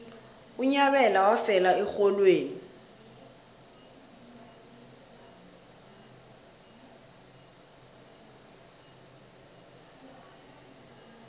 unyabela wafela erholweni